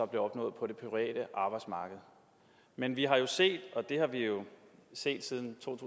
blev opnået på det private arbejdsmarked men vi har jo set og det har vi jo set siden to